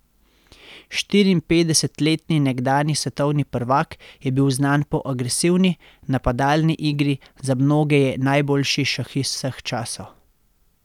Štiriinpetdesetletni nekdanji svetovni prvak je bil znan po agresivni, napadalni igri, za mnoge je najboljši šahist vseh časov.